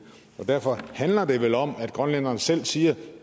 derfor handler det vel om at grønlænderne selv siger